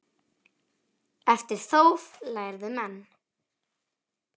En eftir þóf lærðu menn.